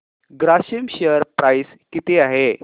Grasim share price किती आहे